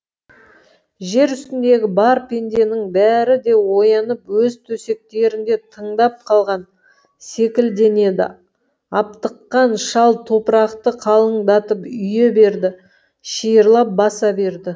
жер үстіндегі бар пенденің бәрі де оянып өз төсектерінде тыңдап қалған секілденеді аптыққан шал топырақты қалыңдатып үйе берді шиырлап баса берді